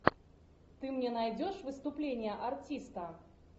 ты мне найдешь выступление артиста